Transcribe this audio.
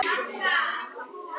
Á getur átt við